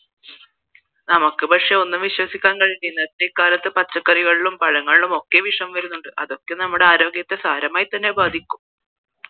നമക്ക് പക്ഷേ ഒന്നും വിശ്വസിക്കാൻ കഴിയുന്നില്ലല്ലോ ഈ കാലത്ത് പച്ചക്കാരികളിലും പഴങ്ങളിലും ഒക്കെ വിഷയം വരുന്നുണ്ട് അതൊക്കെ നമ്മുടെ ആരോഗ്യത്തെ സാരമായി തന്നെ ബാധിക്കും